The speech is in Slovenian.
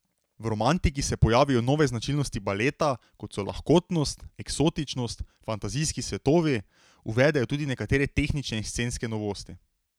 V romantiki se pojavijo nove značilnosti baleta, kot so lahkotnost, eksotičnost, fantazijski svetovi, uvedejo tudi nekatere tehnične in scenske novosti.